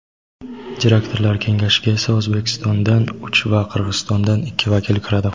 direktorlar kengashiga esa O‘zbekistondan uch va Qirg‘izistondan ikki vakil kiradi.